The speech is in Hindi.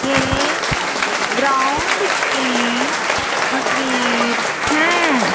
ये ग्राउंड की तस्वीर हैं।